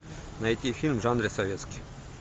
найти фильм в жанре советский